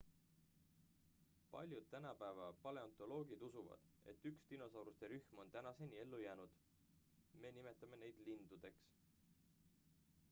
paljud tänapäeva paleontoloogid usuvad et üks dinosauruste rühm on tänaseni ellu jäänud me nimetame neid lindudeks